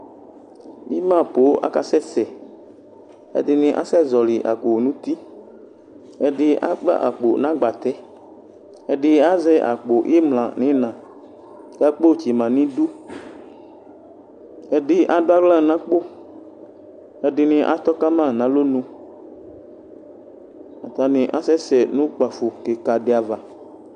Ima poo akasɛsɛ ɛdini asɛ zɔli akpo nʋ uti ɛdi akpla akpo nʋ agbatɛ ɛdi azɛ akpo imla nʋ ina kʋ akpo tsima nʋ idʋ edi adʋ aɣla nʋ akpo ɛdini atɔ kama nʋ alɔnʋ atani asɛsɛ nʋ ukpafo kika di ava